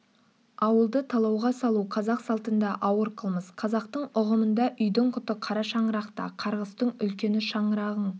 ауылды талауға салу қазақ салтында ауыр қылмыс қазақтың ұғымында үйдің құты кара шаңырақта қарғыстың үлкені шаңырағың